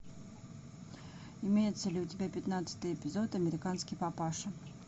имеется ли у тебя пятнадцатый эпизод американский папаша